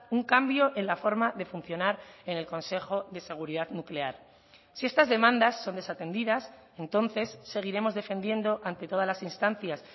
un cambio en la forma de funcionar en el consejo de seguridad nuclear si estas demandas son desatendidas entonces seguiremos defendiendo ante todas las instancias